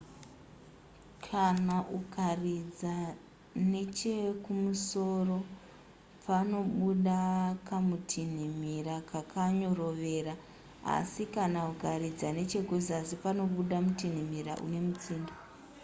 kana ukaridza nechekumusoro panobuda kamutinhimira kakanyorovera asi kana ukaridza nechekuzasi panobuda mutinhimira une mutsindo